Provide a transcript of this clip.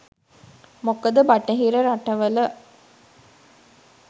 මොකද බටහිර රටවල